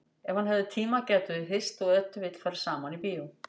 Ef hann hefði tíma gætu þau hist og ef til vill farið saman í bíó.